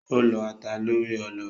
Ó lọ́ ata lórí ọlọ.